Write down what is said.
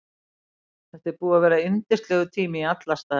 Þetta er búið að vera yndislegur tími í alla staði.